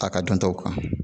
A ka dɔn taw kan